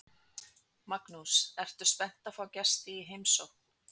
Magnús: Ertu spennt að fá gesti í heimsókn?